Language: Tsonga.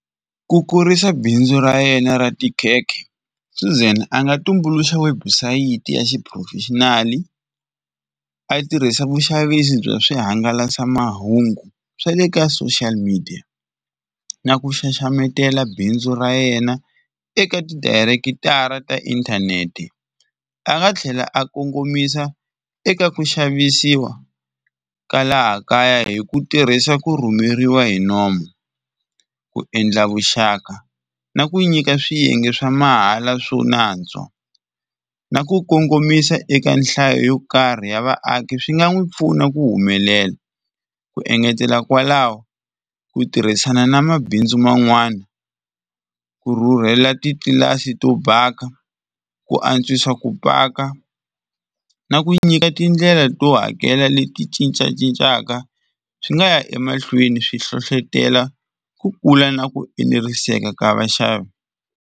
Ku kurisa bindzu ra yena ra tikhekhe Suzan a nga tumbuluxa webusayiti ya xiphurofexinali a tirhisa vuxavisi bya swihangalasamahungu swa le ka social media, na ku xaxametela bindzu ra yena eka ti direct-ara ta inthanete. A nga tlhela a kongomisa eka ku xavisiwa ka laha kaya hi ku tirhisa ku rhumeriwa hi nomu, ku endla vuxaka na ku nyika swiyenge swa mahala swo nantswo na ku kongomisa eka nhlayo yo karhi ya vaaki swi nga n'wi pfuna ku humelela, ku engetela kwalaho ku tirhisana na mabindzu man'wani ku rhurhela titlilasi to baka ku antswisa ku baka na ku nyika tindlela to hakela leti cincacincaka swi nga ya emahlweni swi hlohlotelo ku kula na ku eneriseka ka vaxavi.